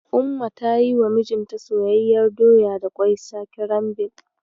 Ummi ta yiwa mijinta soyayyiyar doya da ƙwai sakirambil.